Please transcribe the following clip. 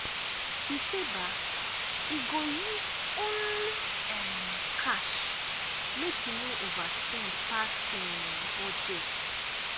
e say um e go use only um cash make e no overspend pass um budget.